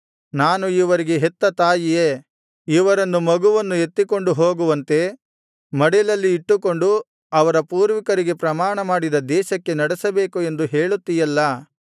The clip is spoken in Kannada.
ನಾನು ಇವರಿಗೆ ಹೆತ್ತ ತಾಯಿಯೇ ಇವರನ್ನು ಮಗುವನ್ನು ಎತ್ತಿಕೊಂಡು ಹೋಗುವಂತೆ ಮಡಿಲಲ್ಲಿ ಇಟ್ಟುಕೊಂಡು ಅವರ ಪೂರ್ವಿಕರಿಗೆ ಪ್ರಮಾಣಮಾಡಿದ ದೇಶಕ್ಕೆ ನಡೆಸಬೇಕು ಎಂದು ಹೇಳುತ್ತೀಯಲ್ಲಾ